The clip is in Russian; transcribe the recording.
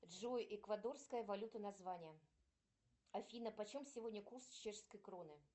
джой эквадорская валюта название афина почем сегодня курс чешской кроны